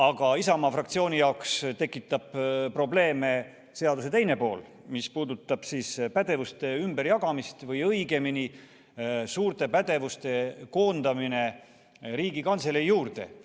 Aga Isamaa fraktsiooni jaoks tekitab probleeme seaduse teine pool, mis puudutab pädevuste ümberjagamist või õigemini suurte pädevuste koondamist Riigikantselei juurde.